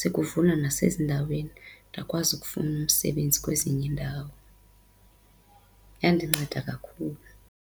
sekuvulwa nasezindaweni ndakwazi ukufuna umsebenzi kwezinye iindawo. Yandinceda kakhulu.